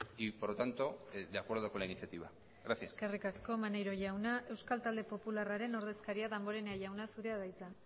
y por lo tanto de acuerdo con la iniciativa gracias eskerrik asko maneiro jauna euskal talde popularraen ordezkaria danborenea jauna zurea da hitza